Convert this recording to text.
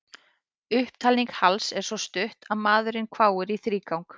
Upptalning Halls er svo stutt að maðurinn hváir í þrígang.